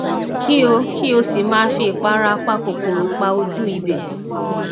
kí o kí o sì máa fi ìpara apakòkòrò pa ojú ibẹ